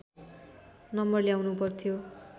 number ल्याउनु पर्थ्यो